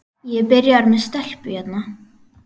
Ég er byrjaður með stelpu hérna.